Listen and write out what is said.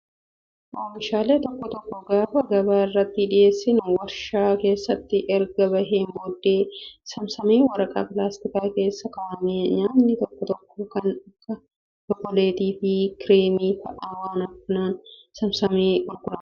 Oomishaalee tokko tokko gaafa gabaa irratti dhiyeessinu waarshaa keessaa erga baheen booddee saamsamee waraqaa pilaastikaa keessa kaa'ama. Nyaatni tokko tokko kan akka chookoleetii fi kireemii fa'aa waan akkanaan saamsamee gurgurama.